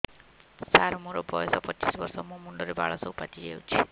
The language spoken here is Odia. ସାର ମୋର ବୟସ ପଚିଶି ବର୍ଷ ମୋ ମୁଣ୍ଡରେ ବାଳ ସବୁ ପାଚି ଯାଉଛି